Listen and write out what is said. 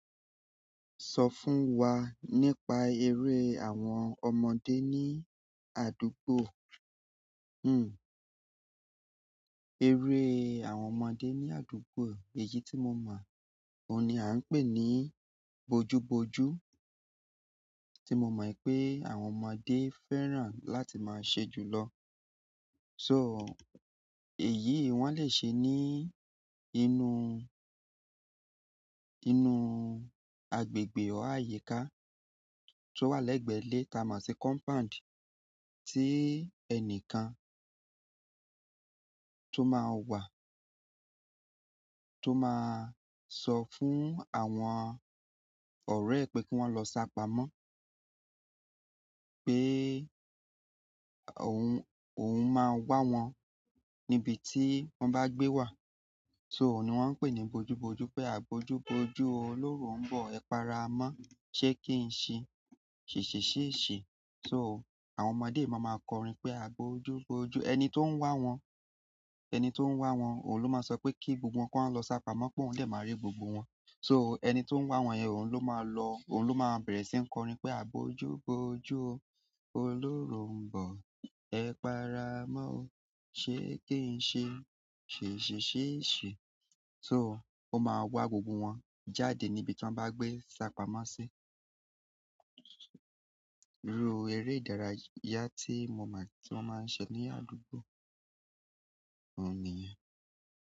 Sọ fún wa nípa eré àwọn ọmọdé ní àdúgbò. Hmm. Eré àwọn ọmọdé ní àdúgbò, èyí tí mo mọ̀, òun ni a ń pè ní bojuboju. Tí mo mọ̀ pé àwọn ọmọdé fẹ́ràn láti máa ṣe jùlọ. So, èyí wọ́n lè ṣe ní inú, inú agbègbè o àyíká tó wà lẹ́gbẹ̀ẹ́ ilé tà mo ṣi compound tí ẹni kan tó máa wà, tó máa sọ fún àwọn ọ̀rẹ́ ẹ pé kí wọ́n lọ sá pamọ́ pé òun, òun máa wá wọn níbi tí wọ́n bá gbé wà. So, òun ni wọ́n ń pè ní bojuboju pé agboju-boju o, olóró ń bọ̀, ẹ para mọ́, ṣé kí n ṣe ṣèṣè ṣé ṣe. So, àwọn ọmọdé máa máa kọrin pé agboju-boju o, ẹni tó ń wá wọn, ẹni tó ń wá wọn òun ló máa sọ pé kí gbogbo wọn kí wọ́n lọ sá pamọ́ pé òun dè máa rí gbogbo wọn. So, ẹni tó ń wá wọn yẹn òun ló máa lọ, òun ló máa bẹ̀rẹ̀ sí ń kọrin pé agboju-boju o, olóró ń bọ̀, ẹ para mọ́ o, ṣé kí n ṣe ṣèṣè ṣé ṣe. So, ó máa wá gbogbo wọn jáde níbi tí wọ́n bá gbé sá pamọ́ sí. Irú eré ìdárayá tí mo mọ̀, tí wọ́n máa ń ṣe ní àdúgbò òun nìyẹn.